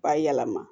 B'a yɛlɛma